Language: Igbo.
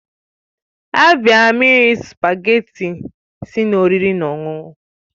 Abịara m iri spugeetí tti si n'oriri na ọṅụṅụ